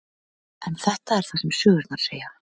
En þetta er það sem sögurnar segja.